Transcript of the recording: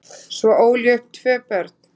Svo ól ég upp tvö börn